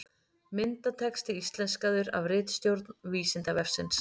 Myndatexti íslenskaður af ritstjórn Vísindavefsins.